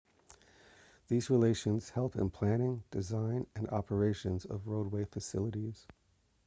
these relationships help in planning design and operations of roadway facilities